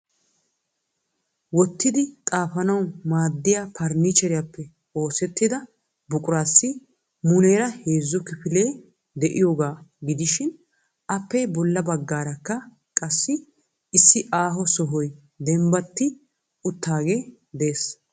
wottidi xaafanaw maaddiya farannicheriyappe oosettida buruqassi muleera heezzu kifilee de'iyooga gidishin appe bolla baggaarakka qassi issi aaho sohoy dembbati uttaage de'ees.